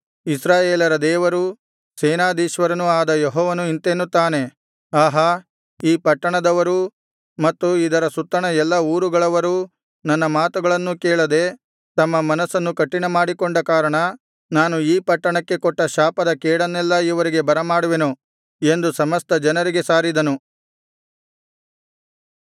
ಇಸ್ರಾಯೇಲರ ದೇವರೂ ಸೇನಾಧೀಶ್ವರನೂ ಆದ ಯೆಹೋವನು ಇಂತೆನ್ನುತ್ತಾನೆ ಆಹಾ ಈ ಪಟ್ಟಣದವರೂ ಮತ್ತು ಇದರ ಸುತ್ತಣ ಎಲ್ಲಾ ಊರುಗಳವರೂ ನನ್ನ ಮಾತುಗಳನ್ನೂ ಕೇಳದೆ ತಮ್ಮ ಮನಸ್ಸನ್ನು ಕಠಿಣಮಾಡಿಕೊಂಡ ಕಾರಣ ನಾನು ಈ ಪಟ್ಟಣಕ್ಕೆ ಕೊಟ್ಟ ಶಾಪದ ಕೇಡನ್ನೆಲ್ಲಾ ಇವರಿಗೆ ಬರಮಾಡುವೆನು ಎಂದು ಸಮಸ್ತ ಜನರಿಗೆ ಸಾರಿದನು